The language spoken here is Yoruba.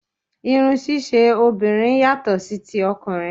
Irun ṣíṣe obìnrin yàtọ̀ sí ti ọkùnrin